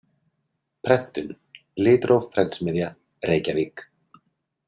Prentun: Litróf prentsmiðja, Reykjavík.